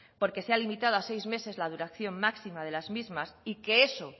porque se ha limitado a seis meses la duración máxima de las mismas y que eso